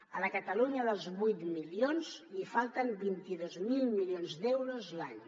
a la catalunya dels vuit milions li falten vint dos mil milions d’euros l’any